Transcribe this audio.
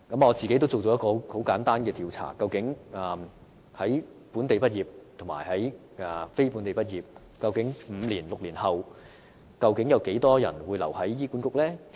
我曾進行一項簡單的調查，看看本地畢業和非本地畢業的醫生在5至6年後，究竟有多少人會留在醫管局工作？